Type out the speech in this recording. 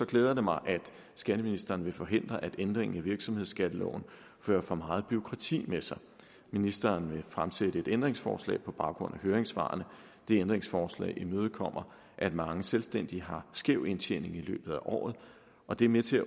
glæder det mig at skatteministeren vil forhindre at ændringen i virksomhedsskatteloven fører for meget bureaukrati med sig ministeren vil fremsætte et ændringsforslag på baggrund af høringssvarene det ændringsforslag imødekommer at mange selvstændige har skæv indtjening i løbet af året og det er med til at